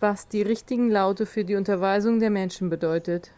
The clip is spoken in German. was die richtigen laute für die unterweisung der menschen bedeutet